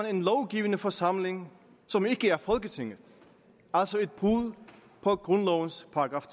en lovgivende forsamling som ikke er folketinget altså et brud på grundlovens §